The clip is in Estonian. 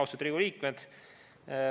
Austatud Riigikogu liikmed!